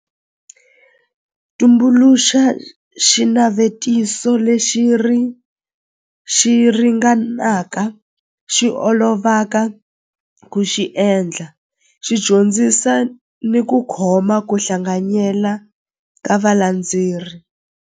Tumbuluxa xinavetiso lexi xi ringanaka xi olovaka ku xi endla xi dyondzisa ni ku khoma ku hlanganyela ka valandzeri.